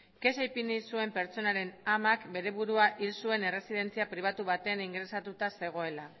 kexa ipini zuen pertsonaren amak bere burua hil zuen erresidentzia pribatu batean ingresatuta zegoela